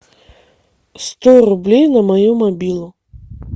сто рублей на мою мобилу